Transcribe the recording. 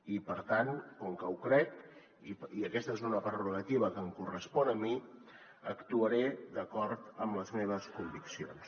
i per tant com que ho crec i aquesta és una prerrogativa que em correspon a mi actuaré d’acord amb les meves conviccions